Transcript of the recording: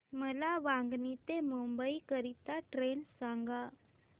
मला वांगणी ते मुंबई करीता ट्रेन सांगा